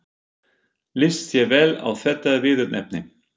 Líst þér vel á þetta viðurnefni?